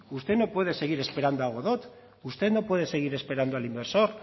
usted no puede seguir esperando a godot usted no puede seguir esperando al inversor